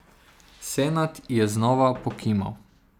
Senad je znova pokimal.